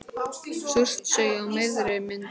Surtsey á miðri mynd.